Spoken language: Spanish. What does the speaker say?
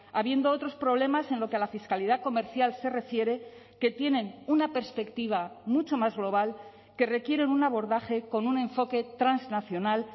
habiendo otros problemas en lo que a la fiscalidad comercial se refiere que tienen una perspectiva mucho más global que requieren un abordaje con un enfoque transnacional